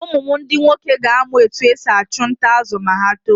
Ụmụ m ndi nwoke ga-amụ otú e si achụ nta azụ̀ ma ha tóó.